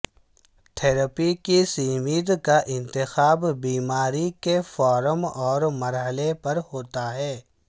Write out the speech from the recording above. therapy کی سمت کا انتخاب بیماری کے فارم اور مرحلے پر ہوتا ہے